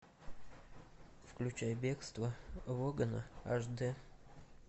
включай бегство логана аш д